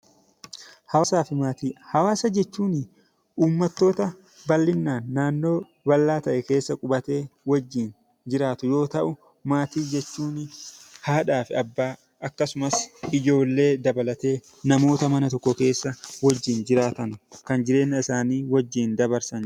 Hawaasaa fi maatii. Hawaasa jechuuni uummattoota bal'inaan naannoo bal'aa ta'e keessa qubatee wajjin jiraatu yoo ta'u maatii jechuun haadhaaf abbaa akkasumas ijoollee dabalatee namoota mana tokko keessa wajjin jiraatan kan jireenya isaanii wajjin dabarsan.